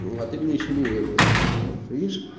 а ты мне ещё не верил вот видишь